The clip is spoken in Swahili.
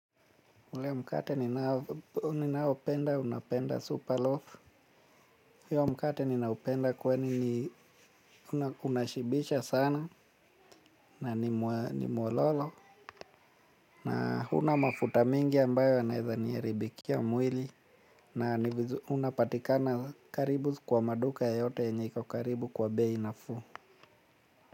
Ule mkate ninaopenda, napenda super loaf. Hiyo mkate ninaupenda kwani unashibisha sana na ni mwololo. Na hauna mafuta mingi ambayo yanaweza niharibikia mwili. Na unapatikana karibu kwa maduka yote yenye iko karibu kwa bei nafuu.